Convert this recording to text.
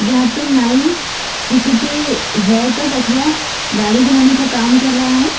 यहां पर नाई किसी के हेयरकट अथवा दाढ़ी बनाने का काम कर रहा है।